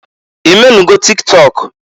I menugo tik tọk?